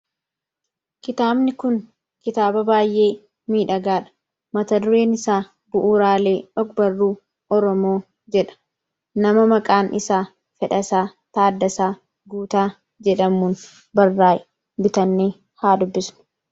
Kitaabni kun kitaaba baay'ee miidhagaadha. Mata dureen isaa bu'uuraalee ogbarruu Oromoo jedha nama maqaan isaa Fedhasaa Taaddasaa Guutaa jedhamuun barraa'e, bitannee haa dubbisnu.